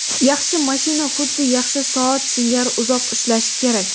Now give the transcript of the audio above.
Yaxshi mashina xuddi yaxshi soat singari uzoq ishlashi kerak.